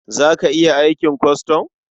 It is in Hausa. Za ka iya aikin kwastam?